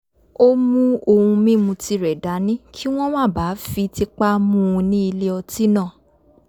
ó mú ohun mímu tirẹ̀ dání kí wọ́n má bàa fi tipá mú u ní ilé ọtí náà